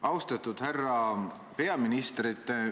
Austatud härra peaminister!